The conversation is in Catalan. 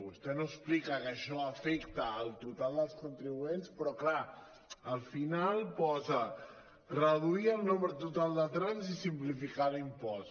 vostè no explica que això afecta al total dels contribuents però clar al final posa reduir el nombre to·tal de trams i simplificar l’impost